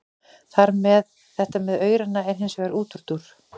Þetta með aurana er hins vegar útúrdúr.